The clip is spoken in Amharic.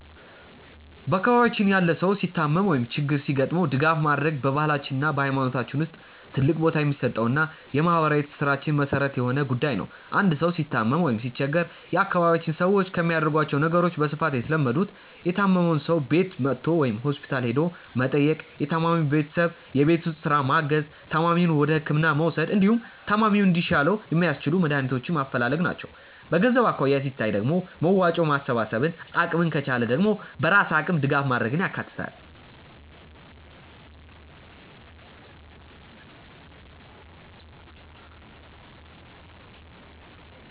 በአካባቢያችን ያለ ሰው ሲታመም ወይም ችግር ሲገጥመው ድጋፍ ማድረግ በባህላችን እና በሃይማኖታችን ውስጥ ትልቅ ቦታ የሚሰጠውና የማህበራዊ ትስስራችን መሰረት የሆነ ጉዳይ ነው። አንድ ሰው ሲታመም ወይም ሲቸገር የአካባቢያችን ሰዎች ከሚያደርጓቸው ነገሮች በስፋት የተለመዱት:- የታመመውን ሰው ቤቱ መጥቶ ወይም ሆስፒታል ሄዶ መጠየቅ፣ የታማሚውን ቤተሰብ የቤት ውስጥ ስራ ማገዝ፣ ታማሚውን ወደህክምና መውሰድ፣ እንዲሁም ታማሚው እንዲሻለው የሚያስችሉ መድሃኒቶችን ማፈላለግ ናቸው። በገንዘብ አኳያ ሲታይ ደግሞ መዋጮ ማሰባሰብን፣ አቅም ከቻለ ደግሞ በራስ አቅም ድጋፍ ማድረግን ያካትታል።